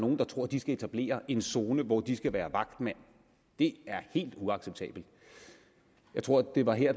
nogle der tror at de skal etablere en zone hvor de skal være vagtmænd det er helt uacceptabelt jeg tror at det var her